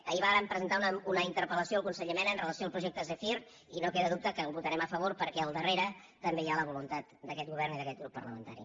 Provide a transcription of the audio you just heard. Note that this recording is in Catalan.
ahir vàrem presentar una interpellació al conseller mena amb relació al projecte zèfir i no queda dubte que hi votarem a favor perquè al darrere també hi ha la voluntat d’aquest govern i d’aquest grup parlamentari